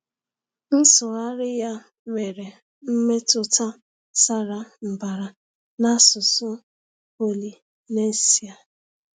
Nsụgharị ya nwere mmetụta sara mbara n’asụsụ Polynesia.